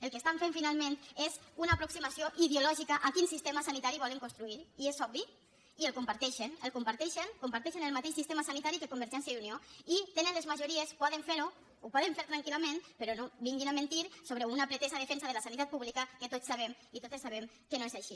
el que estan fent finalment és una aproximació ideològica a quin sistema sanitari volen construir i és obvi i el comparteixen el comparteixen comparteixen el mateix sistema sanitari que convergència i unió i tenen les majories poden fer ho ho poden fer tranquil·lament però no vinguin a mentir sobre una pretesa defensa de la sanitat pública que tots sabem i totes sabem que no és així